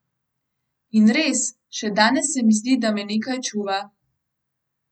In res, še danes se mi zdi, da me nekaj čuva.